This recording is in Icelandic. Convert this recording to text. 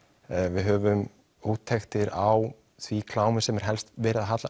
við höfum úttektir á því klámi sem er helst verið að